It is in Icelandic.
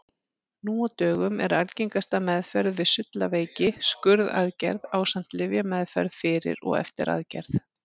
Nú á dögum er algengasta meðferð við sullaveiki skurðaðgerð ásamt lyfjameðferð fyrir og eftir aðgerð.